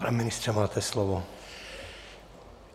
Pane ministře, máte slovo.